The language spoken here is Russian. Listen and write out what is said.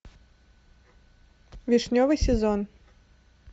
вишневый сезон